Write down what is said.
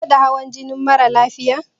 Ka gwada hawan jinin mara lafiyan?